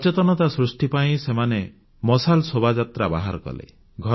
ସଚେତନତା ସୃଷ୍ଟି ପାଇଁ ସେମାନେ ମଶାଲ ଶୋଭାଯାତ୍ରା ବାହାର କଲେ